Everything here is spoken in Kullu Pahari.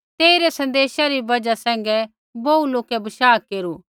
तेई रै सन्देशा री बजहा सैंघै बोहू लोकै बशाह केरू